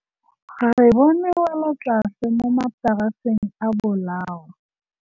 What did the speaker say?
Re bone wêlôtlasê mo mataraseng a bolaô.